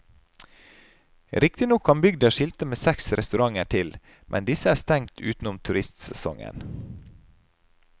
Riktignok kan bygda skilte med seks restauranter til, men disse er stengt utenom turistsesongen.